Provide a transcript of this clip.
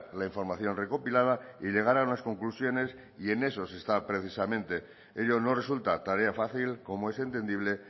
la información recopilada y llegar a unas conclusiones y en eso se está precisamente ello no resulta tarea fácil como es entendible